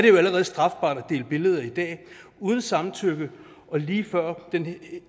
jo allerede strafbart at dele billeder i dag uden samtykke og lige før